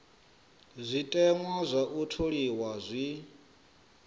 zwiteṅwa zwa u tholiwa zwi